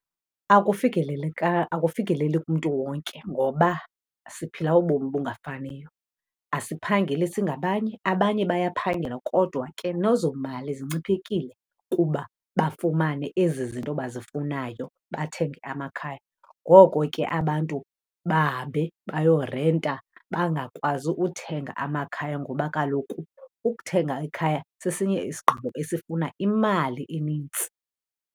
Akufikeleli kumntu wonke ngoba siphila ubomi obungafaniyo. Asiphangeli singabanye, abanye bayaphangela kodwa ke nezo mali zinciphekile kuba bafumane ezi zinto bazifunayo, bathenge amakhaya. Ngoko ke abantu bahambe bayorenta, bangakwazi uthenga amakhaya ngoba kaloku ukuthenga ikhaya sesinye isigqibo esifuna imali enintsi.